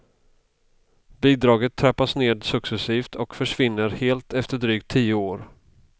Bidraget trappas ned successivt och försvinner helt efter drygt tio år.